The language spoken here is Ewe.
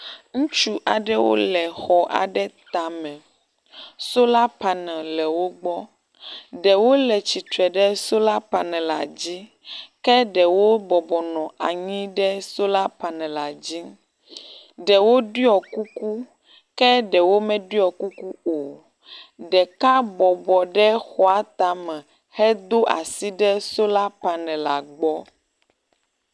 Ŋutsu aɖewo le xɔ aɖe tame. Sola panel le wo gbɔ. Ɖewo le tsitre ɖe sola panel la dzi ke ɖewo bɔbɔnɔ anyi ɖe sola panel la dzi. Ɖewo ɖɔ kuku ke ɖewo meɖɔ kuku o. Ɖeka bɔbɔnɔ ɖe xɔatame hedo asi ɖe sola panel la gbɔ.